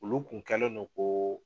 Olu kun kɛlen no ko